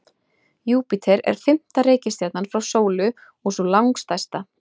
Júpíter er fimmta reikistjarnan frá sólu og sú langstærsta.